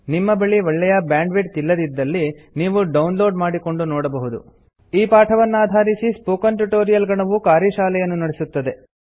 ನಿಮ್ಮ ಬಳಿ ಒಳ್ಳೆಯ ಬ್ಯಾಂಡ್ವಿಡ್ತ್ ಇಲ್ಲದಿದ್ದಲ್ಲಿ ನೀವು ಡೌನ್ಲೋಡ್ ಮಾಡಿಕೊಂಡು ನೋಡಬಹುದು ಈ ಪಾಠವನ್ನಾಧಾರಿಸಿ ಸ್ಪೋಕನ್ ಟ್ಯುಟೊರಿಯಲ್ ಗಣವು ಕಾರ್ಯಶಾಲೆಯನ್ನು ನಡೆಸುತ್ತದೆ